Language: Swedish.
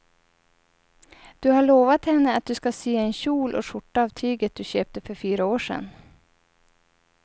Du har lovat henne att du ska sy en kjol och skjorta av tyget du köpte för fyra år sedan.